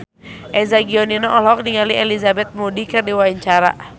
Eza Gionino olohok ningali Elizabeth Moody keur diwawancara